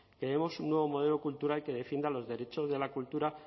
queremos un nuevo modelo cultural que defienda los derechos de la cultura